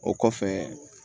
O kɔfɛ